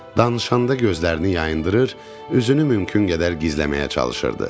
Danışanda gözlərini yayındırır, üzünü mümkün qədər gizləməyə çalışırdı.